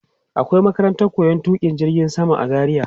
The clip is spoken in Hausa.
Akwai makarantar koyon tuƙa jirgin sama a Zaria.